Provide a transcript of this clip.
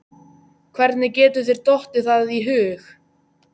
Hvernig getur þér dottið það í hug!